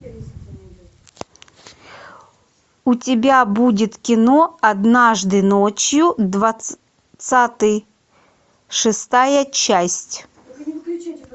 у тебя будет кино однажды ночью двадцатый шестая часть